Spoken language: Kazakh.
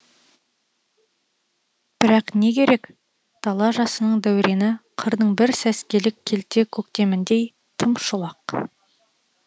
бірақ не керек дала жасының дәурені қырдың бір сәскелік келте көктеміндей тым шолақ